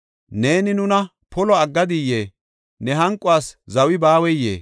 Neeni nuna polo aggadiyee? Ne hanquwas zawi baaweyee?